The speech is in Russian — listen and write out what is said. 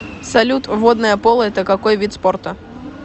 салют водное поло это какой вид спорта